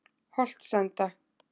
Holtsenda